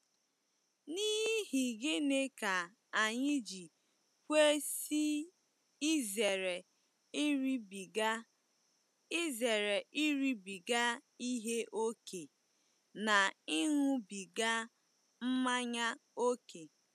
N’ihi gịnị ka anyị ji kwesị izere iribiga izere iribiga ihe ókè na ịṅụbiga mmanya ókè?